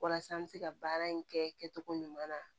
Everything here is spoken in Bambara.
Walasa an bɛ se ka baara in kɛ cogo ɲuman na